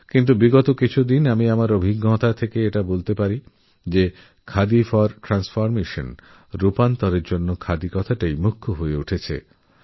কিন্তু বিগত কিছু সময়ধরে আমি অন্তর থেকে বলতে পারছি যে খাদি ফর নেশন আর খাদি ফর ফ্যাশনএর পরে এখনখাদি ফর ট্র্যান্সফর্মেশন ওই জায়গা নিচ্ছে